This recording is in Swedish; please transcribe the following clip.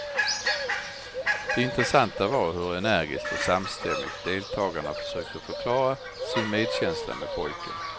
Det intressanta var hur energiskt och samstämmigt deltagarna försökte förklara sin medkänsla med pojken.